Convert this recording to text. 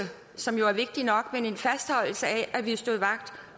som jo er vigtig nok af at vi står vagt